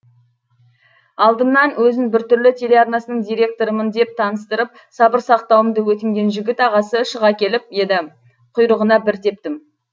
алдымнан өзін бір түрлі телеарнасының директорымын деп таныстырып сабыр сақтауымды өтінген жігіт ағасы шыға келіп еді құйрығына бір тептім